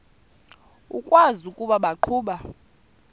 ukwazi ukuba baqhuba